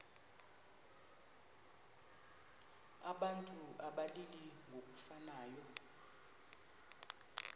abantu abalili ngokufanayo